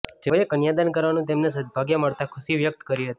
જેઓએ કન્યાદાન કરવાનુ તેમને સદ્દભાગ્ય મળતા ખુશી વ્યકત કરી હતી